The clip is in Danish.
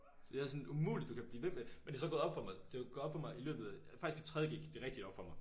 Så jeg sådan umuligt du kan blive ved med men det så gået op for mig det gået op for mig i løbet faktisk i 3.g gik det rigtigt op for mig